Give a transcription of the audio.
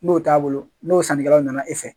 N'o t'a bolo n'o sanni kɛlaw na na e fɛ